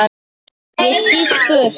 Ég skýst burt.